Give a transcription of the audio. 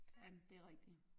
Ej men det er rigtig